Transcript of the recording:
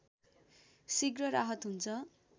शीघ्र राहत हुन्छ